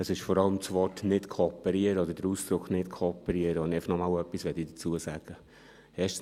Es ist vor allem das Wort oder der Ausdruck «nicht kooperieren», zu dem ich einfach noch einmal etwas sagen will.